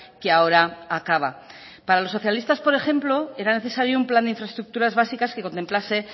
que ahora acaba para los socialistas por ejemplo era necesario un plan de infraestructuras básicas que contemplase